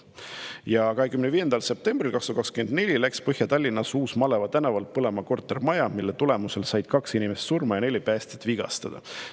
Teiseks, 25. detsembril 2024 läks Põhja-Tallinnas Uus-Maleva tänaval põlema kortermaja, mille tõttu said kaks inimest surma ja neli päästjat vigastada.